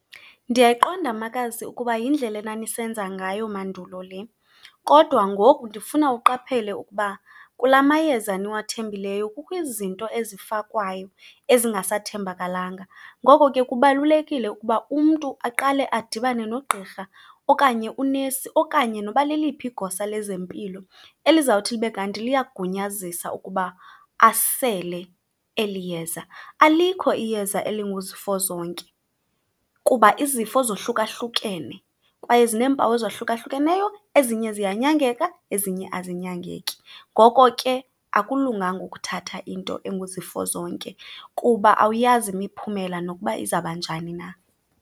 Ndiyayiqonda makazi ukuba yindlela enanisenza ngayo mandulo le, kodwa ngoku ndifuna uqaphele ukuba kula mayeza niwathembileyo kukho izinto ezifakwayo ezingasathembakalanga. Ngoko ke, kubalulekile ukuba umntu aqale adibane nogqirha okanye unesi okanye noba leliphi igosa lezempilo elizawuthi libe kanti liyagunyazisa ukuba asele eli yeza. Alikho iyeza elinguzifozonke kuba izifo zohlukahlukene, kwaye zineempawu ezahlukahlukeneyo, ezinye ziyanyangeka ezinye azinyangeki. Ngoko ke, akulunganga ukuthatha into enguzifozonke kuba awuyazi imiphumela nokuba izawuba njani na.